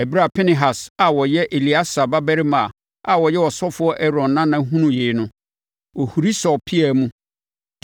Ɛberɛ a Pinehas a ɔyɛ Eleasa babarima a na ɔyɛ ɔsɔfoɔ Aaron nana hunuu yei no, ɔhuri sɔɔ pea mu